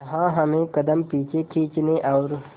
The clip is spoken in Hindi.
जहां हमें कदम पीछे खींचने और